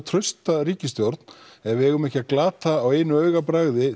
trausta ríkisstjórn ef við eigum ekki að glata á augabragði